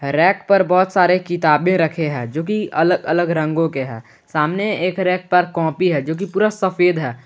Rack पर बहुत सारे किताबें रखे हैं जोकि अलग अलग रंगों के हैं सामने एक रैक पर कॉपी है जोकि पूरा सफेद है।